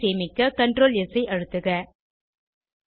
file ஐ சேமிக்க CtrlS ஐ அழுத்துக